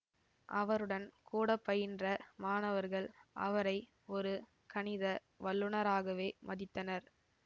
அவருடன் கூடப்பயின்ற மாணவர்கள் அவரை ஒரு கணித வல்லுனராகவே மதித்தனர்